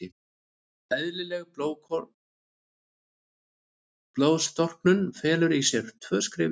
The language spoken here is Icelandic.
Eðlileg blóðstorknun felur í sér tvö skref í viðbót.